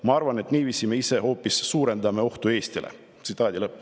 "Ma arvan, et niiviisi me ise hoopis suurendame ohtu Eestile.